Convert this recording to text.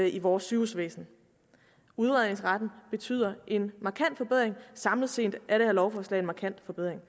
i vores sygehusvæsen udredningsretten betyder en markant forbedring og samlet set er det her lovforslag en markant forbedring